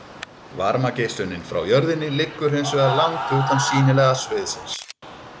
Varmageislunin frá jörðinni liggur hins vegar langt utan sýnilega sviðsins.